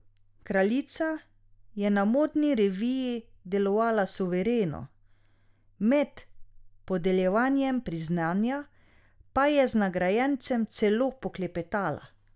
Kraljica je na modni reviji delovala suvereno, med podeljevanjem priznanja pa je z nagrajencem celo poklepetala.